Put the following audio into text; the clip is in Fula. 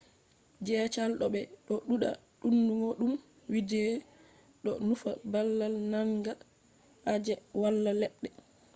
gesaji do be do duda donugo dum vidde” do nufa babal manga je wala ledde